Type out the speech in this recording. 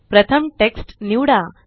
प्रथम टेक्स्ट निवडा